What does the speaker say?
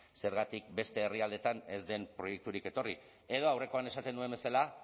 zergatik beste herrialdeetan ez den proiekturik etorri edo aurrekoan esaten nuen bezala